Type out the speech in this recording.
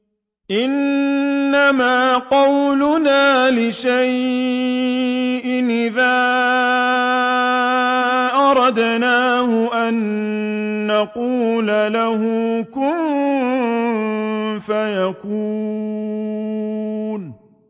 إِنَّمَا قَوْلُنَا لِشَيْءٍ إِذَا أَرَدْنَاهُ أَن نَّقُولَ لَهُ كُن فَيَكُونُ